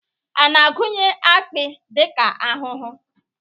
A na-agụnye akpi dịka ahụhụ?